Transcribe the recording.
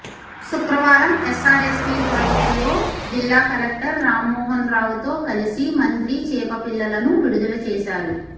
శుక్రవారం ఎస్సారెస్పీ ప్రాజెక్టులో జిల్లా కలెక్టర్ రామ్మోహన్ రావుతో కలిసి మంత్రి చేపపిల్లలను విడుదల చేశారు